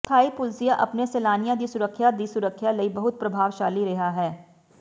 ਥਾਈ ਪੁਲਸੀਆ ਆਪਣੇ ਸੈਲਾਨੀਆਂ ਦੀ ਸੁਰੱਖਿਆ ਦੀ ਸੁਰੱਖਿਆ ਲਈ ਬਹੁਤ ਪ੍ਰਭਾਵਸ਼ਾਲੀ ਰਿਹਾ ਹੈ